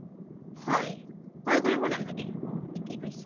হয় ভয় কৰিব নালাগে থিকে কৈছে